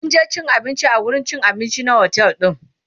mun je cin abinci a wurin cin abinci na otel din